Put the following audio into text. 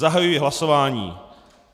Zahajuji hlasování.